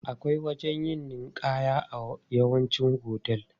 Akwai wajen yin ninƙaya a yawancin hotel.